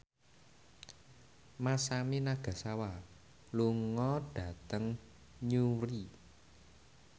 Masami Nagasawa lunga dhateng Newry